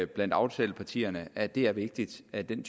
blandt aftalepartierne at det er vigtigt at den